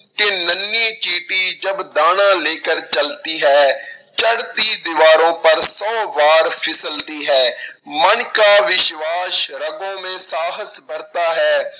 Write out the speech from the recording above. ਕਿ ਨੰਨੀ ਚੀਟੀ ਜਬ ਦਾਨਾ ਲੇਕਰ ਚਲਤੀ ਹੈ, ਚੜ੍ਹਤੀ ਦੀਵਾਰੋਂ ਪਰ ਸੌ ਵਾਰ ਫਿਸਲਤੀ ਹੈ ਮਨ ਕਾ ਵਿਸ਼ਵਾਸ ਰਗੋਂ ਮੇ ਸਾਹਸ ਬਰਤਾ ਹੈ,